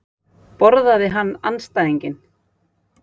Borðaði hann andstæðinginn?